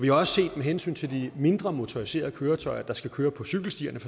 jo også med hensyn til de mindre motoriserede køretøjer der skal køre på cykelstierne